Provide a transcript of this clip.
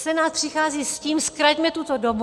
Senát přichází s tím - zkraťme tuto dobu.